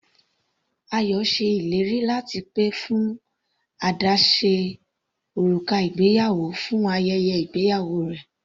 Ayọ ṣe ìlérí láti pè fún àdáse òrùka ìgbéyàwó fún ayẹyẹ ìgbéyàwó rẹ̀.